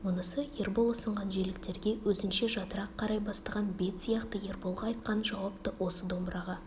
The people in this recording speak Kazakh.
мұнысы ербол ұсынған желіктерге өзінше жатырақ қарай бастаған бет сияқты ерболға айтқан жауап та осы домбыраға